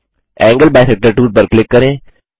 angle bisector tool पर click करें